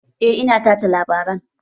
Eh ina tace labaran